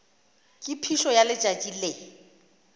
ka phišo ya letšatši le